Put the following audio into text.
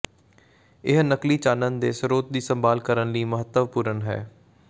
ਇਹ ਨਕਲੀ ਚਾਨਣ ਦੇ ਸਰੋਤ ਦੀ ਸੰਭਾਲ ਕਰਨ ਲਈ ਮਹੱਤਵਪੂਰਨ ਹੈ